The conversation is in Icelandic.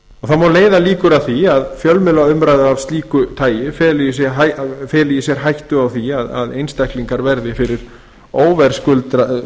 má leiða líkur að því að fjölmiðlaumræða af slíku tagi feli í sér hættu á að einstaklingar verði fyrir óverðskuldaðri